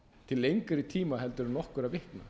til lengri tíma en nokkurra vikna við